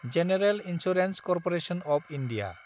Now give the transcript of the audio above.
general insurance corporation of India